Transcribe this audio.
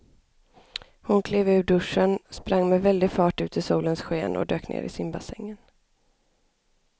Hon klev ur duschen, sprang med väldig fart ut i solens sken och dök ner i simbassängen.